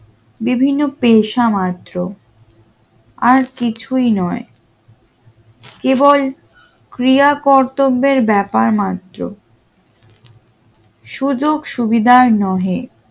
বিভিন্ন পেশা মাত্র আর কিছুই নয় কেবল ক্রিয়া কর্তব্যের ব্যাপার মাত্র সুযোগ সুবিধার নহে